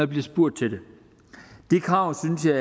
bliver spurgt til det de krav synes jeg